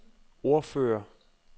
ordfører